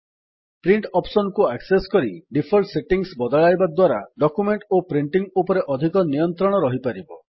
print option କୁ access କରି default settings ବଦଳାଇବା ଦ୍ୱାରା ଡକ୍ୟୁମେଣ୍ଟ୍ ଓ ପ୍ରିଣ୍ଟିଙ୍ଗ୍ ଉପରେ ଅଧିକ ନିୟନ୍ତ୍ରଣ ରହିପାରିବ